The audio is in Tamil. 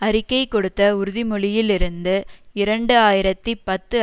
அறிக்கை கொடுத்த உறுதிமொழியில் இருந்து இரண்டு ஆயிரத்தி பத்து